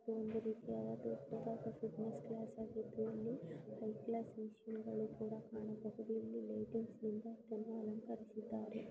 ಇದು ಒಂದು ರೀತಿಯಾದ ದೊಡ್ಡದಾದ ಬಿಸಿನೆಸ್ ಕ್ಲಾಸ್ಆಗಿದ್ದು ಹೈಕ್ಲಾಸ್ ಮ್ಯಾಚಿಂಗಳು ಕೂಡ ಹಾಗು ಲೈಟಿಂಗ್ಸ್ ಗಳ್ಳನು ಕೂಡ ಅನುಸರಿಸಿದ್ದಾರೆ.